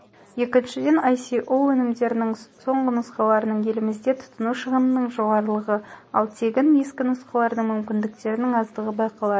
екіншіден ісоо өнімдерінің соңғы нұсқаларының елімізде тұтыну шығынының жоғарылығы ал тегін ескі нұсқалардың мүмкіндіктерінің аздығы байқалады